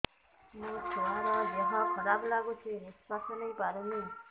ମୋ ଛୁଆର ଦିହ ଖରାପ ଲାଗୁଚି ନିଃଶ୍ବାସ ନେଇ ପାରୁନି